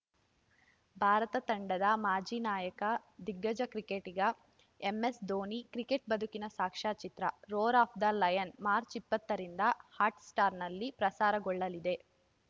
ಭಾರತ ತಂಡದ ಮಾಜಿ ನಾಯಕ ದಿಗ್ಗಜ ಕ್ರಿಕೆಟಿಗ ಎಂಎಸ್‌ಧೋನಿ ಕ್ರಿಕೆಟ್‌ ಬದುಕಿನ ಸಾಕ್ಷ್ಯಚಿತ್ರ ರೋರ್ ಆಫ್‌ ದ ಲಯನ್‌ ಮಾರ್ಚ್ ಇಪ್ಪತ್ತರಿಂದ ಹಾಟ್‌ ಸ್ಟಾರ್‌ನಲ್ಲಿ ಪ್ರಸಾರಗೊಳ್ಳಲಿದೆ